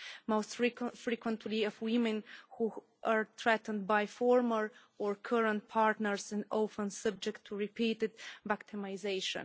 It is most frequently of women, who are threatened by former or current partners and often subject to repeated victimisation.